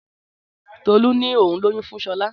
Tọlú ni ohun lóyún fún shola